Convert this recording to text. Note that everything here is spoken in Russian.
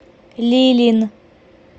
лилин